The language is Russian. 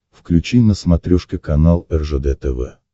включи на смотрешке канал ржд тв